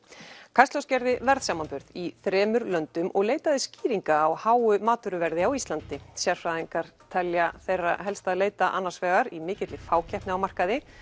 kastljós gerði verðsamanburð í þremur löndum og leitaði skýringa á háu matvöruverði á Íslandi sérfræðingar telja þeirra helst að leita annars vegar í mikilli fákeppni á markaði